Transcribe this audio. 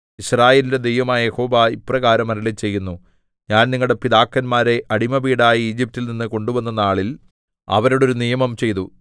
യിസ്രായേലിന്റെ ദൈവമായ യഹോവ ഇപ്രകാരം അരുളിച്ചെയ്യുന്നു ഞാൻ നിങ്ങളുടെ പിതാക്കന്മാരെ അടിമവീടായ ഈജിപ്റ്റിൽ നിന്ന് കൊണ്ടുവന്ന നാളിൽ അവരോട് ഒരു നിയമം ചെയ്തു